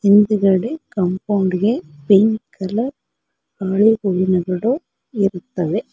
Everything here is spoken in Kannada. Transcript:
ಮುಂದ್ಗಡೆ ಕಾಂಪೌಂಡ್ ಗೆ ಪಿಂಕ್ ಕಲರ್ ಇರುತ್ತವೆ.